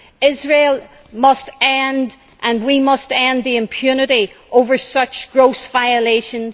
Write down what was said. Israel must end and we must end the impunity over such gross violations.